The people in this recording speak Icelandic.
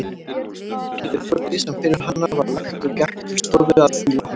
Gerði Þórdís sem fyrir hana var lagt og gekk til stofu að því loknu.